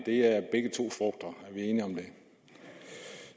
vi enige om det